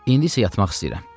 İndi isə yatmaq istəyirəm.